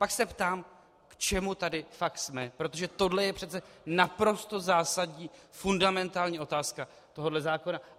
Pak se ptám, k čemu tady fakt jsme, protože tohle je přece naprosto zásadní, fundamentální otázka tohoto zákona.